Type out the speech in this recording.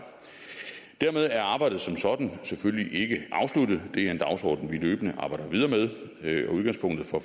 dermed er arbejdet som sådan selvfølgelig ikke afsluttet det er en dagsorden vi løbende arbejder videre med og udgangspunktet for